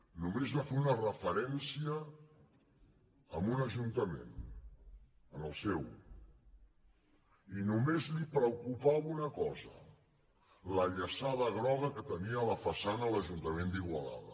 només va fer una referència a un ajuntament al seu i només li preocupava una cosa la llaçada groga que tenia a la façana l’ajuntament d’igualada